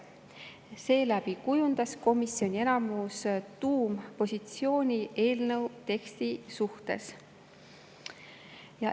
Seeläbi kujundas komisjoni enamus tuumpositsiooni eelnõu teksti suhtes.